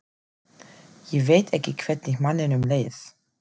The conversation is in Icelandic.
Ég veit ekki hvernig manninum leið.